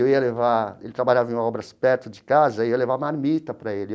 Eu ia levar...ele trabalhava em obras perto de casa e eu ia levar marmita para ele.